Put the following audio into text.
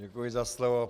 Děkuji za slovo.